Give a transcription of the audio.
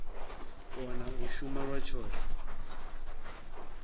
kona u shuma lwa tshoṱhe